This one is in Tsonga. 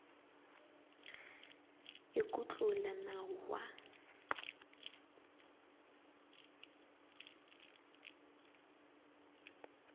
i ku tlula nawu wa